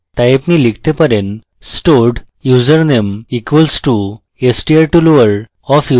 তাই আপনি লিখতে পারেন stored user name equals to str to lower of username